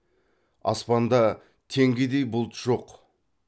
аспанда теңгедей бұлт жоқ